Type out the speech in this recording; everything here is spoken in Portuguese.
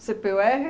cê pê u érre